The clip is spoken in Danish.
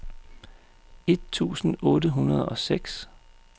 et tusind otte hundrede og seks